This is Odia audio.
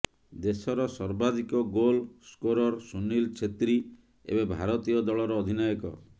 ଦେଶର ସର୍ବାଧିକ ଗୋଲ୍ ସ୍କୋରର୍ ସୁନୀଲ ଛେତ୍ରୀ ଏବେ ଭାରତୀୟ ଦଳର ଅଧିନାୟକ